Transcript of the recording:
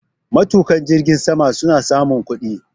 Matuka jirgi suna samun kudi.